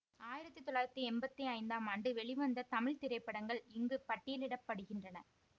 ஆயிரத்தி தொள்ளாயிரத்தி எம்பத்தி ஐந்தாம் ஆண்டு வெளிவந்த தமிழ் திரைப்படங்கள் இங்கு பட்டியலிட படுகின்றன